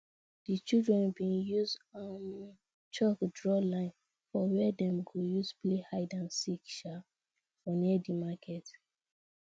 di children been use um chalk draw line for where dem go use play hide and seek um for near di market